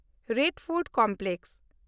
Lal fort complex